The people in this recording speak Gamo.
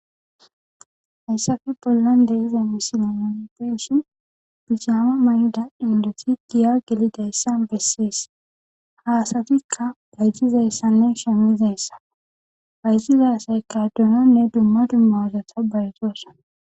Hayissape bollani deyiza misileni nuni beyishini duguza mayiza indoti giya gelidayisa besesi ha asatika bayizidaysane shamidayissa bayizida asati donone duma duma bata bayizosona